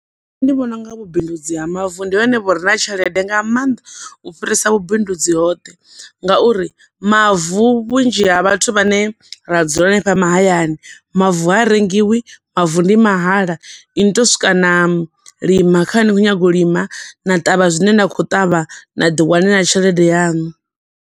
Nṋe ndi vhona unga vhubindudzi ha mavu ndi hone vhu re na tshelede nga maanḓa u fhirisa vhubindudzi hoṱhe, nga uri mavu vhunzhi ha vhathu vhane ra dzula hanefha mahayani, mavu ha rengiwi, mavu ndi mahala, inwi ni to swika na lima kha hune na khou nyaga u lima, na ṱavha zwine na khou ṱavha, na ḓi wanela tshelede yanu.